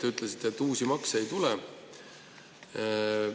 Te ütlesite, et uusi makse ei tule.